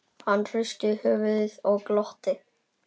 Hann hristi höfuðið og glotti.